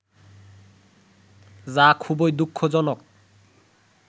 যা খুবই দুঃখজনক